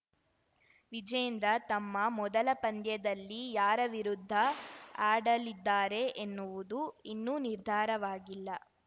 ವಿಜೇಂದ್ರ ತಮ್ಮ ಮೊದಲ ಪಂದ್ಯದಲ್ಲಿ ಯಾರ ವಿರುದ್ಧ ಆಡಲಿದ್ದಾರೆ ಎನ್ನುವುದು ಇನ್ನೂ ನಿರ್ಧಾರವಾಗಿಲ್ಲ